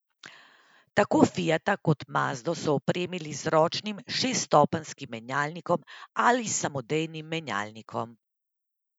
Tako fiata kot mazdo so opremili z ročnim šeststopenjskim menjalnikom ali samodejnim menjalnikom.